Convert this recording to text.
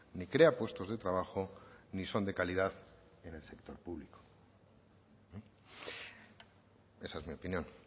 ni crea puestos de trabajo ni son de calidad en el sector público esa es mi opinión